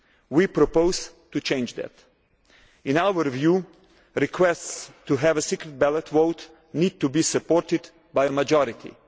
We propose to change that. In our view, requests to have a secret ballot vote need to be supported by a majority.